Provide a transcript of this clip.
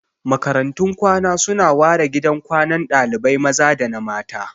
Makarantun kwana su na ware gidan kwanan dalibai maza da na mata